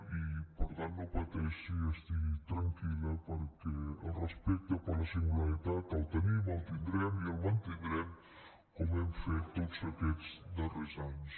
i per tant no pateixi estigui tranquil·la perquè el respecte per la singularitat el tenim el tindrem i el mantindrem com hem fet tots aquests darrers anys